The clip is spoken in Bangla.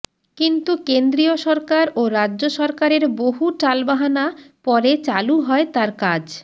কিন্তু কেন্দ্রীয় সরকার ও রাজ্য সরকারের বহু টালবাহানা পরে চালু হয় তার কাজ